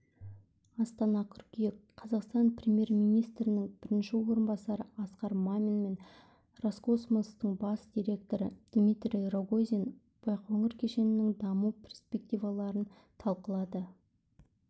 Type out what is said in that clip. астана қыркүйек қазақстан премьер-министрінің бірінші орынбасары асқар мамин мен роскосмостың бас директоры дмитрий рогозин байқоңыр кешенінің даму перспективаларын талқылады